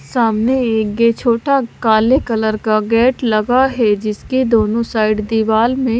सामने एक गे छोटा काले कलर का गेट लगा है जिसके दोनों साइड दीवाल में--